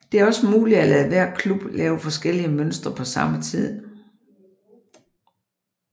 Det er også muligt at lade hver club lave forskellige mønstre på samme tid